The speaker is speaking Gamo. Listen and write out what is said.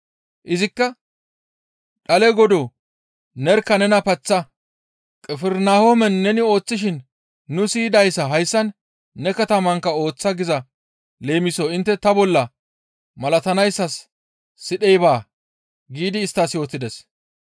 Izikka, «Dhale Godoo nerkka nena paththa; Qifirnahoomen neni ooththishin nu siyidayssa hayssan ne katamankka ooththa giza leemiso intte ta bolla malatanayssas sidhey baa» giidi isttas yootides.